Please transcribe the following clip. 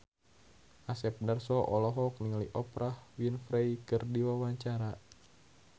Asep Darso olohok ningali Oprah Winfrey keur diwawancara